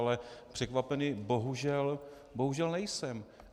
Ale překvapený bohužel nejsem.